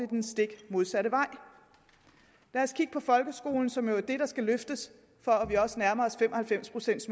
den stik modsatte vej lad os kigge på folkeskolen som jo er den der skal løftes for at vi også nærmer at fem og halvfems procent